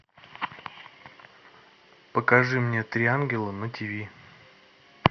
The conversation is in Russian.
покажи мне три ангела на тиви